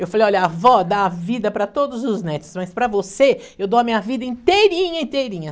Eu falei, olha, a avó dá a vida para todos os netos, mas para você, eu dou a minha vida inteirinha, inteirinha.